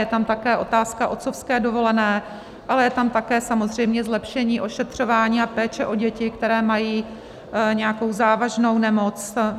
Je tam také otázka otcovské dovolené, ale je tam také samozřejmě zlepšení ošetřování a péče o děti, které mají nějakou závažnou nemoc.